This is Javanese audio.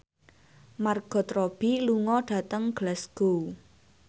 Margot Robbie lunga dhateng Glasgow